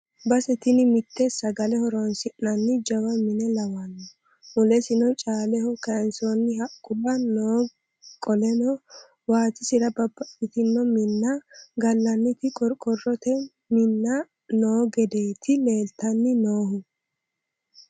Base tini mite sagale horonsi'nanni jawa mine lawano mulesino caaleho kayinsonni haqquwa no qoleno waatisira babbaxxitino minna gallanniti qoriqorote minna no gedeti leelittani nooehu.